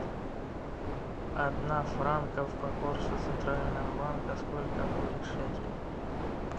одна франков по курсу центрального банка сколько будет шекелей